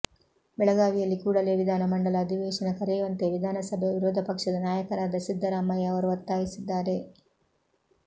ಬೆಳಗಾವಿಯಲ್ಲಿ ಕೂಡಲೇ ವಿಧಾನ ಮಂಡಲ ಅಧಿವೇಶನ ಕರೆಯುವಂತೆ ವಿಧಾನಸಭೆಯ ವಿರೋಧ ಪಕ್ಷದ ನಾಯಕರಾದ ಸಿದ್ದರಾಮಯ್ಯ ಅವರು ಒತ್ತಾಯಿಸಿದ್ದಾರೆ